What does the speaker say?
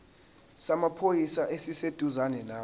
samaphoyisa esiseduzane nawe